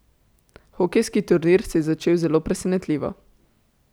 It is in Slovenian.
Hokejski turnir se je začel zelo presentljivo.